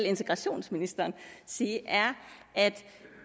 integrationsministeren sige er at